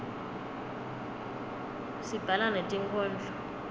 sibhala netinkhondlo